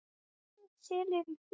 Selir í fjöru.